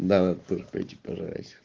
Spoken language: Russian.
экипаж